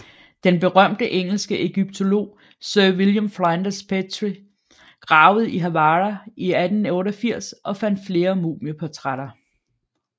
Den berømte engelske ægyptolog Sir William Flinders Petrie gravede i Hawara i 1888 og fandt flere mumieportrætter